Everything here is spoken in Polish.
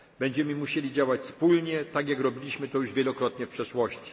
klimatycznym. Będziemy musieli działać wspólnie, tak jak robiliśmy to już wielokrotnie w